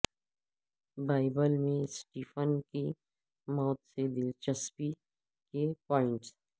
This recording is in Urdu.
بائبل میں سٹیفن کی موت سے دلچسپی کے پوائنٹس